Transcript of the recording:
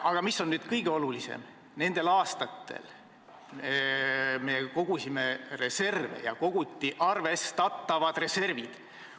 Aga mis kõige olulisem: nendel aastatel me kogusime reserve ja kogusime lõpuks arvestatavad reservid.